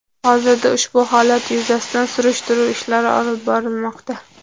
Hozirda ushbu holat yuzasidan surishtiruv ishlari olib borilmoqda.